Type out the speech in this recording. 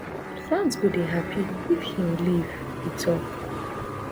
fans go dey happy if im leave e tok